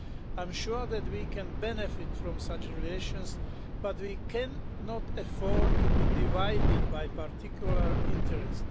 I am sure that we can benefit from such relations, but we cannot afford to be divided by a particular interest.